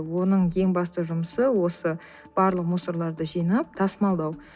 оның ең басты жұмысы осы барлық мусорларды жинап тасымалдау